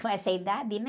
Com essa idade, né?